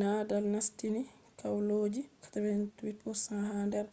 nadal nastini kwalloji 88% ha nder